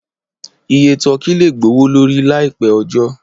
Iye tọ́kì lè gbowó lórí láì pẹ́ ọjọ́.